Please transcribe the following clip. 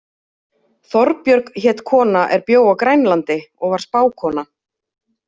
Þorbjörg hét kona er bjó á Grænlandi og var spákona.